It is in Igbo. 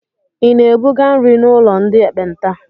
Ị na-ebuga nri n'ụlọ ndị ekpenta?